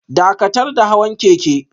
Dakatar da hawan keke